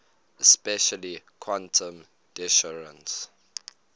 especially quantum decoherence